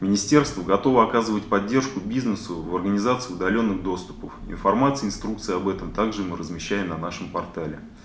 министерство готовы оказывать поддержку бизнесу в организации удалённых доступов к информации инструкция об этом также мы размещаем на нашем портале